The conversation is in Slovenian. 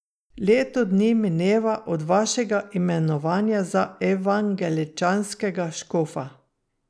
Leto dni mineva od vašega imenovanja za evangeličanskega škofa.